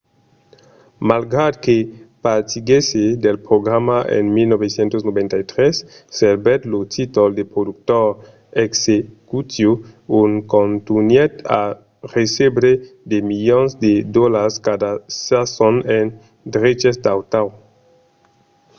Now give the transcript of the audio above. malgrat que partiguèsse del programa en 1993 servèt lo títol de productor executiu e contunhèt a recebre de milions de dolars cada sason en dreches d'autor